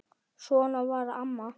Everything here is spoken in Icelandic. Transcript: Svona var amma.